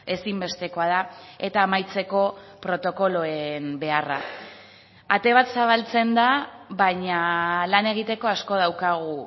ezinbestekoa da eta amaitzeko protokoloen beharra ate bat zabaltzen da baina lan egiteko asko daukagu